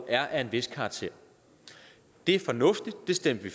er af en vis karakter det er fornuftigt det stemte